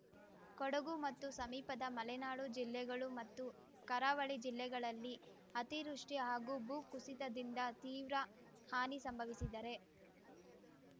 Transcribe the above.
ಕೊಡಗು ಮತ್ತು ಸಮೀಪದ ಮಲೆನಾಡು ಜಿಲ್ಲೆಗಳು ಮತ್ತು ಕರಾವಳಿ ಜಿಲ್ಲೆಗಳಲ್ಲಿ ಅತಿವೃಷ್ಟಿ ಹಾಗೂ ಭೂ ಕುಸಿತದಿಂದ ತೀವ್ರ ಹಾನಿ ಸಂಭವಿಸಿದರೆ